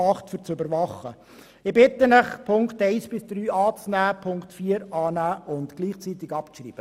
Ich bitte Sie, die Ziffern 1 bis 3 anzunehmen, sowie Ziffer 4 anzunehmen und gleichzeitig abzuschreiben.